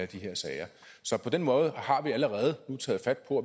de her sager så på den måde har vi allerede nu taget fat på